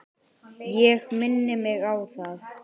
Ég minni mig á það.